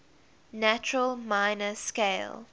natural minor scale